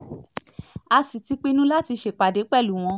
a sì ti pinnu láti ṣèpàdé pẹ̀lú wọn